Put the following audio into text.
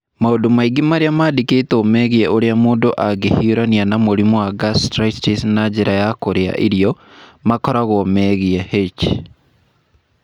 Maũndũ maingĩ marĩa mandĩkĩtwo megiĩ ũrĩa mũndũ angĩhiũrania na mũrimũ wa gastritis na njĩra ya kũrĩa irio, makoragwo megiĩ H.